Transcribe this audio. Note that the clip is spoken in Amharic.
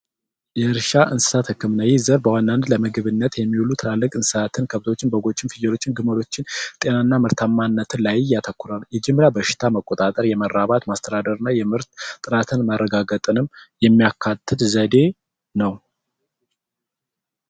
የእርሻ እንስሳት ህክምና በዋናነት ለምግብ ዘርፍ የሚውሉ ትላልቅ እንስሳትን በጎችን ፍየሎችን ግመሎችን ጤና እና ምርታማነት ላይ ያተኮረ ነው መጀመሪያ የበሽታ መቆጣጠር ና የምርት ጥራትን ማረጋገጠንም የሚያካትት ዘዴ ነው።